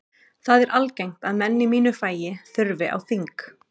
Það er algengt að menn í mínu fagi þurfi á þing.